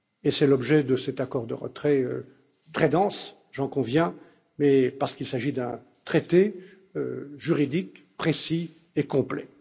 C'est l'objet de cet accord de retrait très dense j'en conviens parce qu'il s'agit d'un traité juridique, précis et complet.